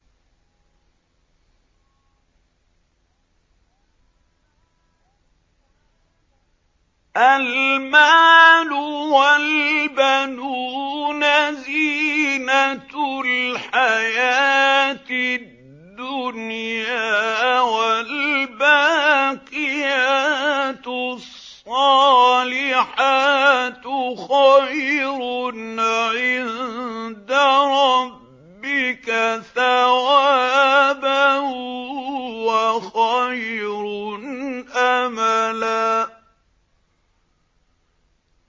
الْمَالُ وَالْبَنُونَ زِينَةُ الْحَيَاةِ الدُّنْيَا ۖ وَالْبَاقِيَاتُ الصَّالِحَاتُ خَيْرٌ عِندَ رَبِّكَ ثَوَابًا وَخَيْرٌ أَمَلًا